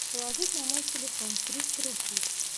положить на мой телефон триста рублей